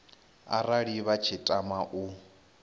arali vha tshi tama u